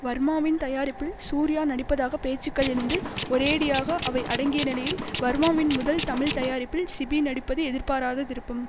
வர்மாவின் தயாரிப்பில் சூர்யா நடிப்பதாக பேச்சுக்கள் எழுந்து ஒரேயடியாக அவை அடங்கிய நிலையில் வர்மாவின் முதல் தமிழ் தயாரிப்பில் சிபி நடிப்பது எதிர்பாராத திருப்பம்